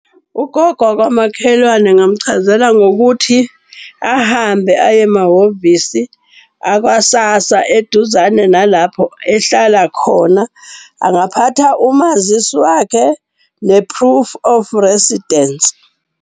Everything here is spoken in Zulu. Ugogo wakwamakhelwane ngamchazela ngokuthi ahambe aye emahhovisi aka-SASSA eduzane nalapho ehlala khona. Angaphatha umazisi wakhe, ne-proof of residence.